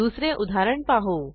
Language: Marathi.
दुसरे उदाहरण पाहू